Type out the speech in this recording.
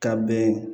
Ka bɛn